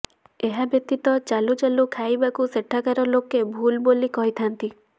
ଏହା ବ୍ୟତୀତ ଚାଲୁ ଚାଲୁ ଖାଇବାକୁ ସେଠାକାର ଲୋକେ ଭୁଲ୍ ବୋଲି କହିଥାଆନ୍ତି